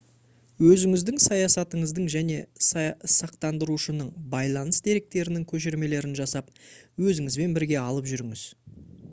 өзіңіздің саясатыңыздың және сақтандырушының байланыс деректерінің көшірмелерін жасап өзіңізбен бірге алып жүріңіз